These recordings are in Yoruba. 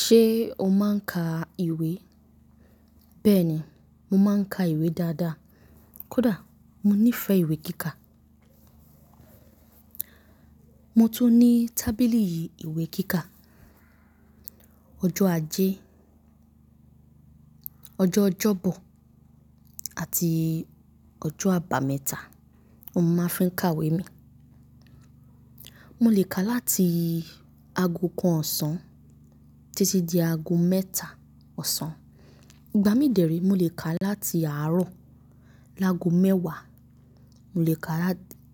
Ṣé o máa ń ka ìwé? Bẹ́ẹ̀ ni, mo máa ń ka ìwé dáadáa. Kódà mo nífẹ̀ẹ́ ìwé kíkà. Mo tún ní tábìlì ìwé kíkà. Ọjọ́ ajé, ọjọ́ Ọjọ́bọ̀ àti ọjọ́ àbámẹ́ta ni mo máa fi ń ka ìwé mi. Mo lè ka láti ago kan ọ̀sán títí di ago mẹ́ta ọ̀sán. Ìgbà mí dẹ̀ rèé, mo lè kà wé láti àárọ̀ lágo mẹ́wàá,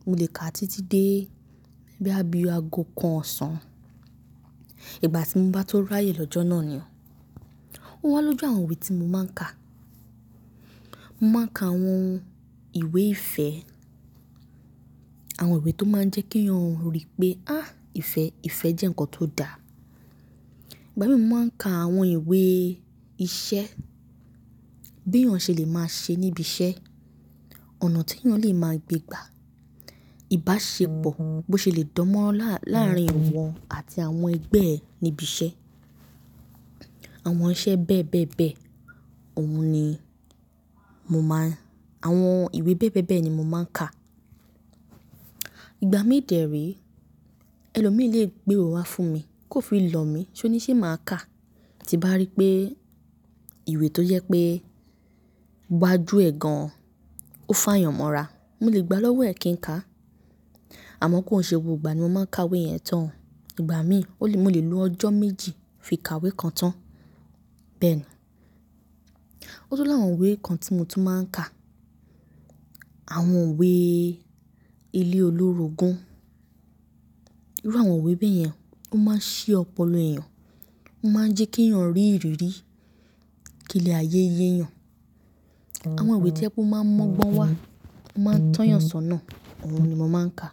mo lè ka títí dé bóyybí i ago kan ọ̀sán. Ìgbà tí mo bá tó ráyè lọ́jọ́ náà ni. Ó wá lójú àwọn ìwé tí mo máa ń kà. Mo máa ń ka àwọn ìwé ìfẹ́, àwọn ìwé tó máa ń jẹ́ kí èèyàn rí pé, háà ìfẹ́ jẹ́ nǹkan tó dáa. Ìgbà mí dẹ̀rí, mo lè ka láti àárọ̀ lágo mẹ́wàá, mo lè ka títí dé bóyà bíi ago kan ọ̀sán. Àwọn iṣẹ́ bẹ́ẹ̀ bẹ́ẹ̀ bẹ́ẹ̀ òun ni àwọn ìwé bẹ́ẹ̀bẹ́ẹ̀bẹ́ ni mo máa ń ka. Ìgbà míì dẹ̀ rèé, ẹlòmíì lè gbé ìwé wá fún mi, kó fi lọ̀ mí kó ní ṣé mà á kà? Tí m bá ríi pé ìwé t'ójẹ́ pé iwájú ẹ̀ gan ó fàyàn mọ́ra, molè gbà á l'ọ́wọ́ ẹ̀ kí n kà á Àmọ́ kòń ṣe gbogbo ìgbà ni mo máa ń kà wé yẹn tán o Ìgbà míì ó lè mo lè lo ọjọ́ méjì kí n fi ka ìwé yẹn tán Bẹ́ẹ̀ ni. O tún l'áwọn ìwé kan tí mo tún máa ń kà Àwọn ìwé ilé-olórogún. Irú àwọn ìwé báyẹn, ó máa ń ṣí ọpọlọpọ èèyàn ó máa n jẹ́ kí ènìyàn rí ìrírí, kí ilé ayé yé èèyàn Àwọn ìwé t'ójẹ́ pé ó máa ń mọ́gbọ́n wá, ó máa ń tọ́ èèyàn s'ọ́nà ni mò máa ń kà.